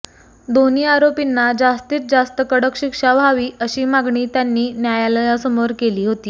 दोन्ही आरोपींना जास्तीत जास्त कडक शिक्षा व्हावी अशी मागणी त्यांनी न्यायालयासमोर केली होती